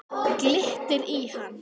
Glittir í hann.